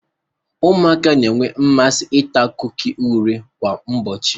Ụmụaka na-enwe mmasị ita kuki oreo kwa ụbọchị.